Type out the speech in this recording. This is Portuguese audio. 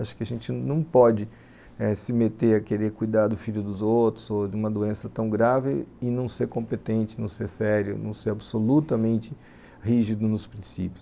Acho que a gente não pode eh se meter a querer cuidar do filho dos outros ou de uma doença tão grave e não ser competente, não ser sério, não ser absolutamente rígido nos princípios.